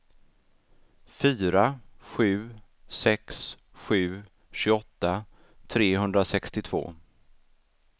fyra sju sex sju tjugoåtta trehundrasextiotvå